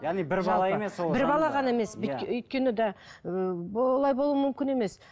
бір бала ғана емес өйткені да ыыы олай болуы мүмкін емес